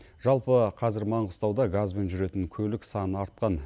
жалпы қазір маңғыстауда газбен жүретін көлік саны артқан